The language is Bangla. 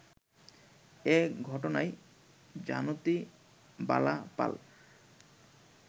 এ ঘটনায় জানুতি বালা পাল